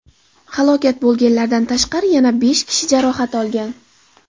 Halok bo‘lganlardan tashqari yana besh kishi jarohat olgan.